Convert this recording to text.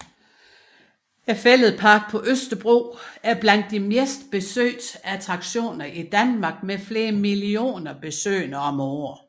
Fælledparken på Østerbro er blandt de mest besøgte attraktioner i Danmark med flere millioner besøgende om året